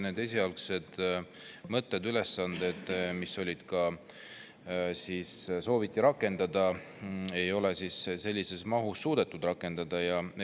Esialgseid mõtteid ja ülesandeid, mida sooviti rakendada, ei ole sellises mahus rakendada suudetud.